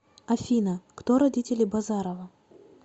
афина кто родители базарова